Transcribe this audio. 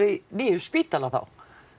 nýjum spítala þá